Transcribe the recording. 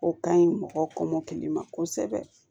O ka ɲi mɔgɔ kɔmɔkili ma kosɛbɛ